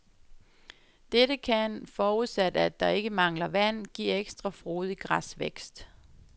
Dette kan, forudsat, at der er ikke mangler vand, give ekstra frodig græsvækst.